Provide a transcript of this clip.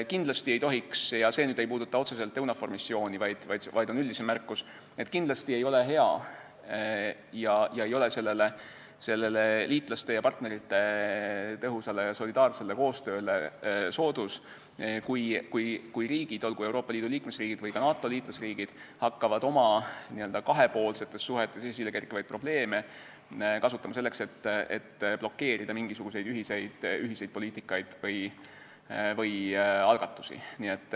Kindlasti ei ole hea – see ei puuduta otseselt EUNAVFOR-missiooni, vaid on üldisem märkus – ja ei ole liitlaste ja partnerite tõhusale ja solidaarsele koostööle soodus, kui riigid, olgu nad Euroopa Liidu liikmesriigid või ka NATO liikmesriigid, hakkavad oma kahepoolsetes suhetes esilekerkivaid probleeme kasutama selleks, et blokeerida mingisuguseid ühiseid poliitikaid või algatusi.